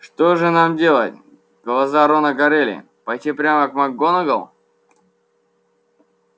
что же нам делать глаза рона горели пойти прямо к макгонагалл